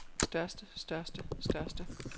største største største